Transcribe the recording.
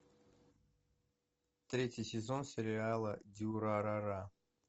третий сезон сериала дюрарара